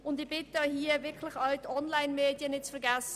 Und ich bitte darum, hierbei die Onlinemedien nicht zu vergessen.